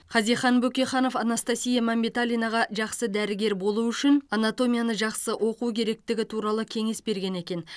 хазихан бөкейханов анастасия мәмбеталинаға жақсы дәрігер болу үшін анатомияны жақсы оқу керектігі туралы кеңес берген екен